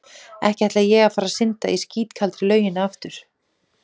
Ekki ætla ég að fara að synda í skítkaldri lauginni aftur.